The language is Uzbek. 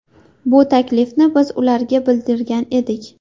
Bu taklifni biz ularga bildirgan edik.